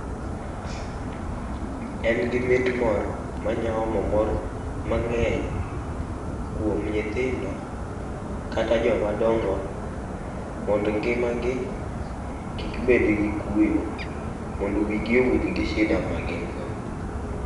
En gi mit moro ma nya omo mor mang'eny kuom nyithindo kata jomadongo mondo ngimagi kik bed gi kuyo mondo wigi owil gi shida magin go.